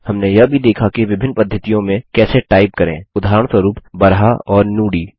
हमने यह भी देखा कि विभिन्न पद्धतियों में कैसे टाइप करें उदाहरणस्वरूप बराहा और नुदी